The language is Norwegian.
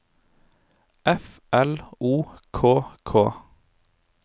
F L O K K